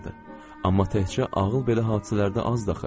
Amma təkcə ağıl belə hadisələrdə azdır axı.